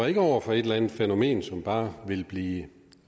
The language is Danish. over for et eller andet fænomen som bare vil blive